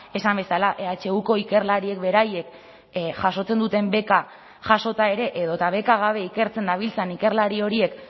esan bezala ehuko ikerlariek beraiek jasotzen duten beka jasota ere edota beka gabe ikertzen dabiltzan ikerlari horiek